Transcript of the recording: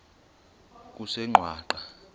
kusengwaqa